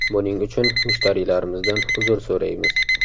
Buning uchun mushtariylarimizdan uzr so‘raymiz.